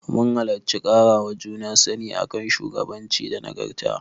Mun halarci ƙarawa juna sani a kan shugabanci da nagarta.